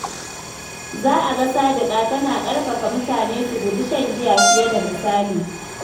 Za a ga Sadiqa tana ƙarfafa mutane su guji shan giya fiye da misali.